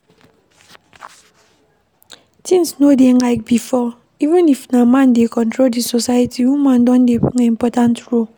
Things no dey like before, even if na man dey control di society, woman don dey play important role